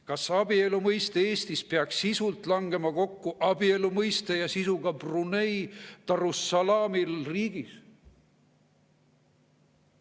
Kas abielu mõiste Eestis peaks sisult langema kokku abielu mõiste ja sisuga Brunei Darussalami Riigis?